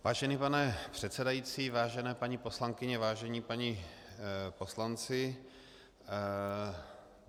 Vážený pane předsedající, vážené paní poslankyně, vážení páni poslanci.